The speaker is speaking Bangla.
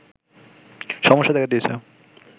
সমস্যা দেখা দিয়েছে